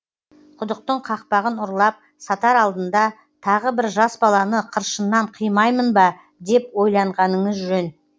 құдықтың қақпағын ұрлап сатар алдында тағы бір жас баланы қыршыннан қимаймын ба деп ойланғаныңыз жөн